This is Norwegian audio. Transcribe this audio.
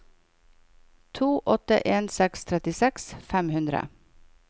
to åtte en seks trettiseks fem hundre